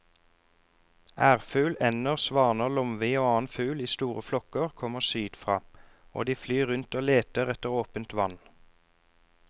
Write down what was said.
Ærfugl, ender, svaner, lomvi og annen fugl i store flokker kommer sydfra og de flyr rundt og leter etter åpent vann.